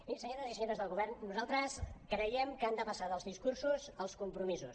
i senyores i senyors del govern nosaltres creiem que han de passar dels discur·sos als compromisos